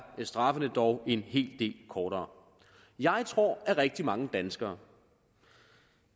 straffene dog en hel del kortere jeg tror at rigtig mange danskere